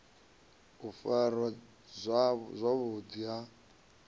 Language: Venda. u farwa zwavhu ḓi ha